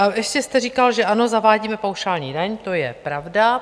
A ještě jste říkal, že ano, zavádíme paušální daň, to je pravda.